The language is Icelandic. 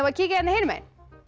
kíkja hérna hinum megin